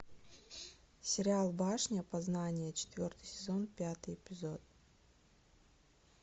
сериал башня познания четвертый сезон пятый эпизод